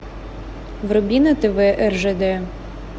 вруби на тв ржд